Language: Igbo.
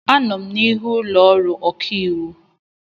Anọ m n'ihu ụlọ ọrụ ọkaiwu.